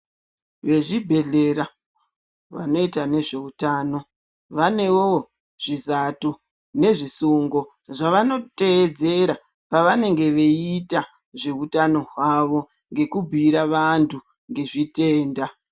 Vezvibhedhlera vanoita nezveutano zvizato nezvisungo zvavanoteedzera pavanenge veiita zveutano hwavo ngekubhuira vantu zvezvitenda .